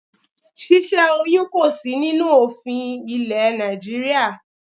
Ṣíṣẹ́ oyún kò sí nínú òfin ilé Nàìjíríà.